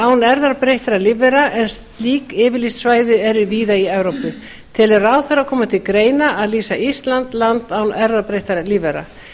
án erfðabreyttra lífvera en slík yfirlýst svæði eru víða í evrópu telur ráðherra koma til greina að lýsa ísland land án erfðabreyttra lífvera